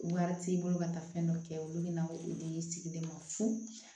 Wari t'i bolo ka taa fɛn dɔ kɛ olu bɛ na i dege i sigi de ma fu